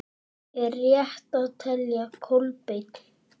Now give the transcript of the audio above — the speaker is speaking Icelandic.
Er rétt að velja Kolbein?